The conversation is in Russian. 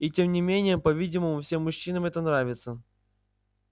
и тем не менее по-видимому всем мужчинам это нравится